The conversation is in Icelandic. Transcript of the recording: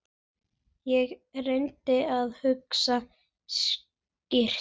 Ég reyndi að hugsa skýrt.